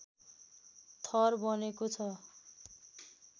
थर बनेको छ